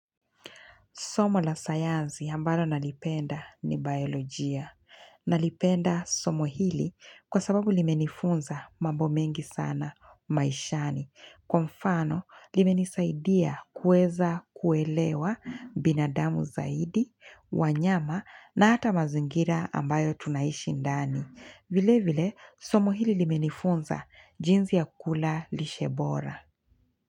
Somo la sayanzi ambalo nalipenda ni biolojia. Nalipenda somo hili kwa sababu limenifunza mambomengi sana maishani. Kwa mfano, limenisaidia kuweza kuelewa binadamu zaidi, wanyama na hata mazingira ambayo tunaishi ndani. Vile vile, somo hili limenifunza jinsi ya kula lishe bora.